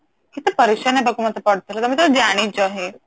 କେତେ ପରେଶାନ ହବାକୁ ମତେ ପଡିଥିଲା ତମେ ତ ଜାଣିଛ ହିଁ